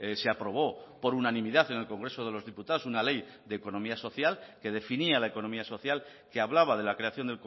se aprobó por unanimidad en el congreso de los diputados una ley de economía social que definía la economía social que hablaba de la creación